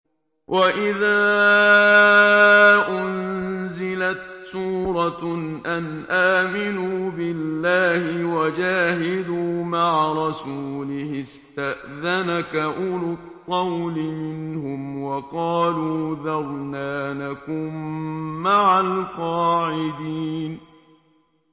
وَإِذَا أُنزِلَتْ سُورَةٌ أَنْ آمِنُوا بِاللَّهِ وَجَاهِدُوا مَعَ رَسُولِهِ اسْتَأْذَنَكَ أُولُو الطَّوْلِ مِنْهُمْ وَقَالُوا ذَرْنَا نَكُن مَّعَ الْقَاعِدِينَ